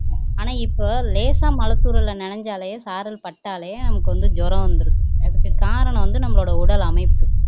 ஆனா இப்போ லேசா மழை தூறல்ல நனஞ்சாலே சாரல் பட்டாலே உங்களுக்கு வந்து ஜுரம் வந்துருது அதுக்கு காரணம் வந்து நம்மளோட உடல் அமைப்பு